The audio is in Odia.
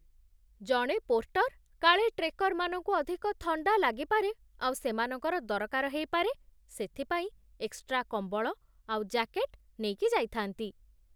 ଜଣେ ପୋର୍ଟର୍ କାଳେ ଟ୍ରେକର୍‌ମାନଙ୍କୁ ଅଧିକ ଥଣ୍ଡା ଲାଗିପାରେ ଆଉ ସେମାନଙ୍କର ଦରକାର ହେଇପାରେ ସେଥିପାଇଁ ଏକ୍‌ଷ୍ଟ୍ରା କମ୍ବଳ, ଆଉ ଜ୍ୟାକେଟ୍ ନେଇକି ଯାଇଥାନ୍ତି ।